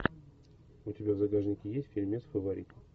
у тебя в загашнике есть фильмец фаворит